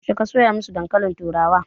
Yaushe ka soya masu dankalin turawa?